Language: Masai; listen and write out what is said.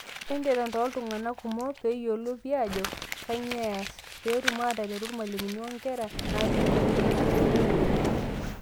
Entetem tooltung'anak kumok, piyolou pii ajo kanyioo eas, peetum ataretu irmalimuni onkera naati nkwapi nemeyioloi oleng'.